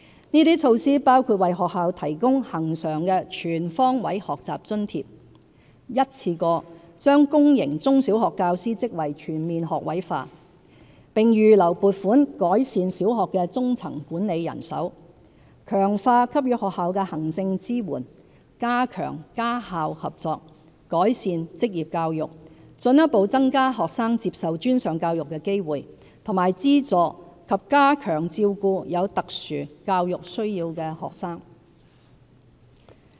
這些措施包括為學校提供恆常的"全方位學習津貼"、一次過把公營中小學教師職位全面學位化，並預留撥款改善小學的中層管理人手、強化給予學校的行政支援、加強家校合作、改善職業教育、進一步增加學生接受專上教育的機會和資助及加強照顧有特殊教育需要的學生。